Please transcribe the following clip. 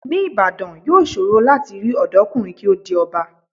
Ní Ìbàdàn, yóò ṣòro láti rí ọ̀dọ́kùnrin kí ó di ọba.